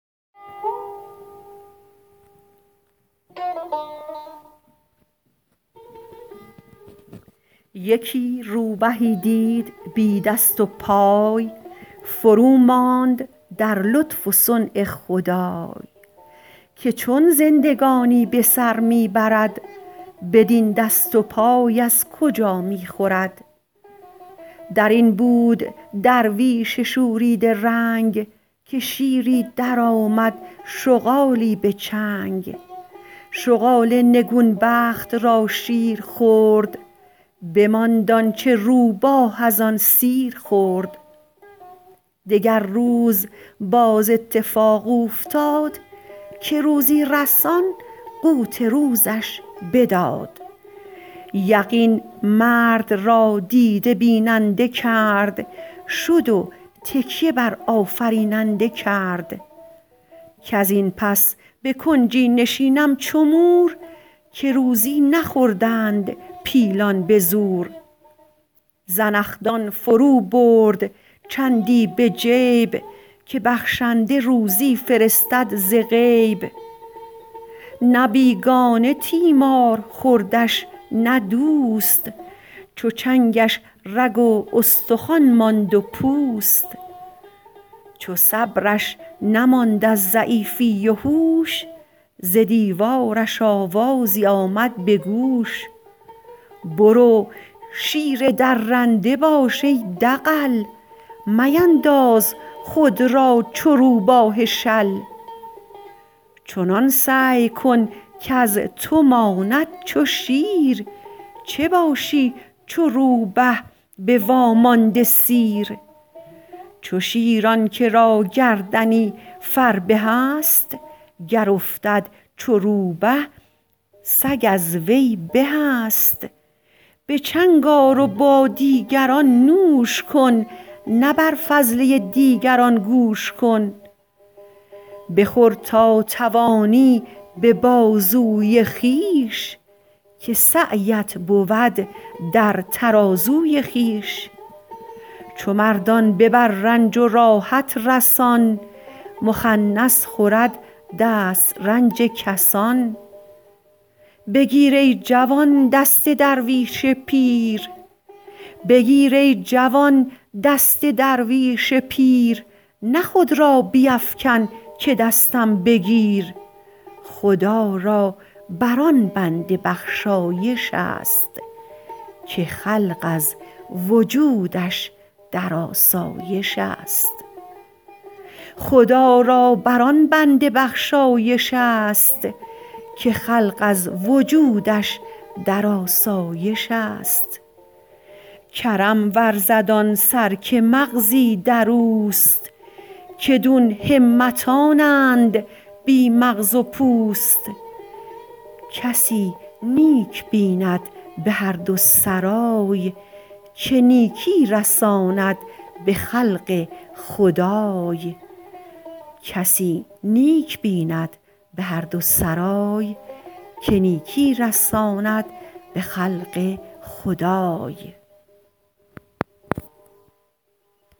یکی روبهی دید بی دست و پای فروماند در لطف و صنع خدای که چون زندگانی به سر می برد بدین دست و پای از کجا می خورد در این بود درویش شوریده رنگ که شیری درآمد شغالی به چنگ شغال نگون بخت را شیر خورد بماند آنچه روبه از آن سیر خورد دگر روز باز اتفاق اوفتاد که روزی رسان قوت روزش بداد یقین مرد را دیده بیننده کرد شد و تکیه بر آفریننده کرد کز این پس به کنجی نشینم چو مور که روزی نخوردند پیلان به زور زنخدان فرو برد چندی به جیب که بخشنده روزی فرستد ز غیب نه بیگانه تیمار خوردش نه دوست چو چنگش رگ و استخوان ماند و پوست چو صبرش نماند از ضعیفی و هوش ز دیوار محرابش آمد به گوش برو شیر درنده باش ای دغل مینداز خود را چو روباه شل چنان سعی کن کز تو ماند چو شیر چه باشی چو روبه به وامانده سیر چو شیر آن که را گردنی فربه است گر افتد چو روبه سگ از وی به است به چنگ آر و با دیگران نوش کن نه بر فضله دیگران گوش کن بخور تا توانی به بازوی خویش که سعیت بود در ترازوی خویش چو مردان ببر رنج و راحت رسان مخنث خورد دسترنج کسان بگیر ای جوان دست درویش پیر نه خود را بیفکن که دستم بگیر خدا را بر آن بنده بخشایش است که خلق از وجودش در آسایش است کرم ورزد آن سر که مغزی در اوست که دون همتانند بی مغز و پوست کسی نیک بیند به هر دو سرای که نیکی رساند به خلق خدای